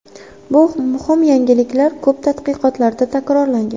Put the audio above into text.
Bu muhim yangilik ko‘p tadqiqotlarda takrorlangan.